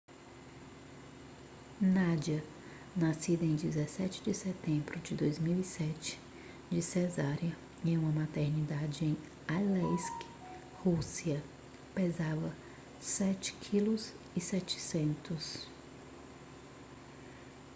nadia nascida em 17 de setembro de 2007 de cesariana em uma maternidade em aleisk rússia pesava 7,7 kg